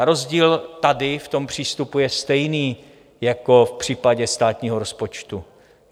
A rozdíl tady v tom přístupu je stejný jako v případě státního rozpočtu.